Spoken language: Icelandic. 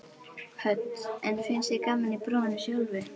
Hödd: En finnst þér gaman í prófinu sjálfu?